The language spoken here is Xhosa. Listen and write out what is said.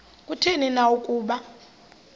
kutheni na ukuba